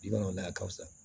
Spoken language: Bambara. Bi mana o la a ka fisa